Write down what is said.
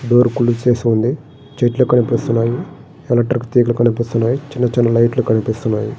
Door close చేసి ఉంది చెట్లు కనిపిస్తూ ఉన్నాయి ఎలక్ట్రికల్ తీగ కనిపిస్తున్నాయి చిన్న చిన్న లైట్ లు కనిపిస్తున్నాయి.